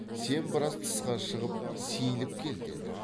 сен біраз тысқа шығып сейіліп кел деді